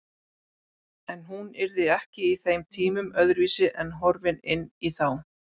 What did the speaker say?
En hún yrði ekki í þeim tímum öðruvísi en horfin inn í þá.